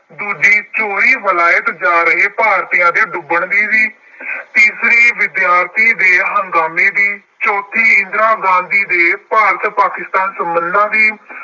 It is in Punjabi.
ਦੂਜੀ ਚੋਰੀ ਵਿਲਾਇਤ ਜਾ ਰਹੇ ਭਾਰਤੀਆਂ ਦੇ ਡੁੱਬਣ ਦੀ ਸੀ। ਤੀਸਰੀ ਵਿਦਿਆਰਥੀ ਦੇ ਹੰਗਾਮੇ, ਚੌਥੀ ਇਦਰਾ ਗਾਂਧੀ ਦੇ ਭਾਰਤ ਪਾਕਿਸਤਾਨ ਸੰਬੰਧਾਂ ਦੀ,